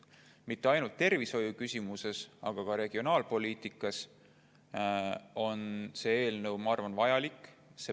Mitte ainult tervishoiule, aga ka regionaalpoliitikale on see eelnõu, ma arvan, vajalik.